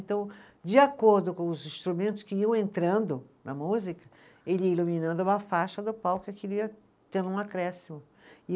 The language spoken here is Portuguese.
Então, de acordo com os instrumentos que iam entrando na música, ele ia iluminando uma faixa do palco, aquilo ia tendo um acréscimo, e